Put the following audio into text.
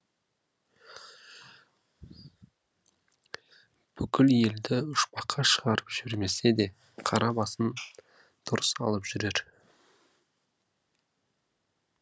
бүкіл елді ұшпаққа шығарып жібермесе де қара басын дұрыс алып жүрер